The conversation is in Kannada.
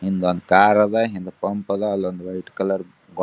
ಹಿಂದೊಂದ್ ಕಾರ್ ಅದ್ ಹಿಂದ್ ಪಂಪ್ ಅದ್ ಅಲೊಂದ್ ವೈಟ್ ಕಲರ್ ಗೋ--